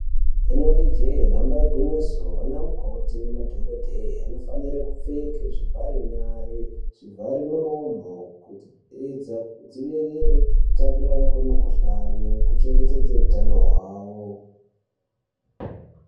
Inenge jee danba igwinyiso ana mukoti nemadhokodheya anofane kupfeka zvivhare nyara, zvivharemuromo kuti vadzivirire kutapukirana kwemikhuhlane kuchengetedze hutano hwavo.